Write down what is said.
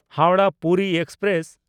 ᱦᱟᱣᱲᱟᱦ–ᱯᱩᱨᱤ express